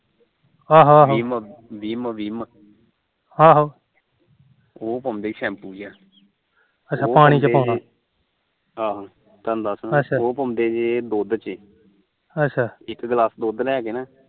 ਆਹੋ ਥਾਨੂੰ ਦੱਸਦਾ ਉਹ ਪਾਉਂਦੇ ਦੇ ਦੁਧ ਚ ਇੱਕ ਗਿਲਾਸ ਦੁਧ ਲੈਕੇ ਨਾ